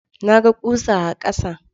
Na ga ƙusa a ƙasa.